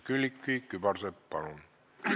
Külliki Kübarsepp, palun!